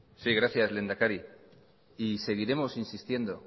sí gracias lehendakari y seguiremos insistiendo